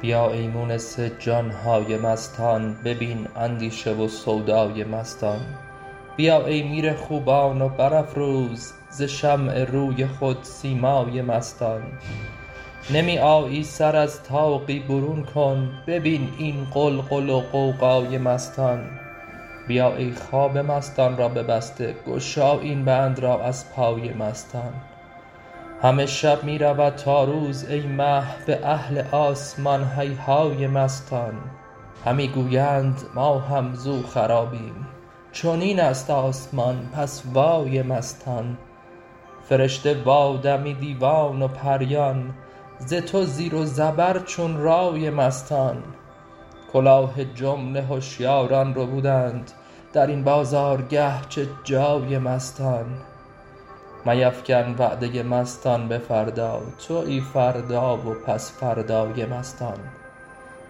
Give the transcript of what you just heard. بیا ای مونس جان های مستان ببین اندیشه و سودای مستان بیا ای میر خوبان و برافروز ز شمع روی خود سیمای مستان نمی آیی سر از طاقی برون کن ببین این غلغل و غوغای مستان بیا ای خواب مستان را ببسته گشا این بند را از پای مستان همه شب می رود تا روز ای مه به اهل آسمان هیهای مستان همی گویند ما هم زو خرابیم چنین است آسمان پس وای مستان فرشته و آدمی دیوان و پریان ز تو زیر و زبر چون رای مستان کلاه جمله هشیاران ربودند در این بازارگه چه جای مستان میفکن وعده مستان به فردا توی فردا و پس فردای مستان